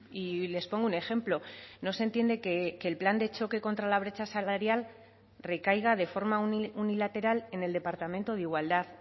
y les pongo un ejemplo no se entiende que el plan de choque contra la brecha salarial recaiga de forma unilateral en el departamento de igualdad